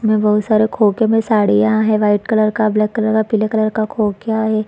में बहुत सारे खोखे में साड़ियाँ है व्हाइट कलर का ब्लैक कलर का पीले कलर का खोखियाँ हैं।